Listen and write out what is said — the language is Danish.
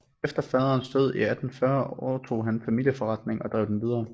Efter faderens død 1840 overtog han familieforretningen og drev den videre